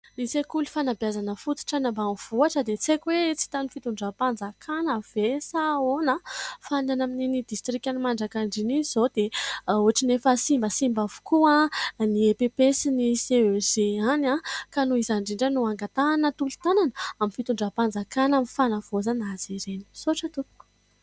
Ny sekoly fanabezana fototra any ambanivohitra dia tsy haiko hoe tsy hitan' ny fitondram-panjakana ve sa ahoana fa ny any amin' iny distrikan' ny Manjakandriana iny izao dia ohatrany efa simba simba avokoa ny < EPP > sy ny < CEG > any ka noho izany indrindra no angatahana tolo-tanana amin' ny fitondram-panjakana amin' ny fanavoazana azy ireny. Misaotra tompoko !